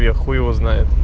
я хуй его знает